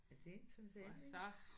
Ja det er interessant ikk